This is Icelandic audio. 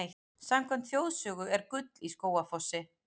Samkvæmt þjóðsögu er gull í Skógafossi.